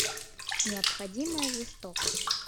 необходимая жестокость